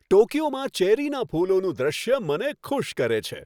ટોક્યોમાં ચેરીના ફૂલોનું દ્રશ્ય મને ખુશ કરે છે.